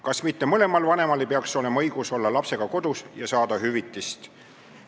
Kas mitte mõlemal vanemal ei peaks olema õigus olla lapsega kodus ja saada hüvitist?